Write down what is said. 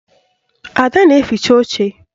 Ada na-eficha oche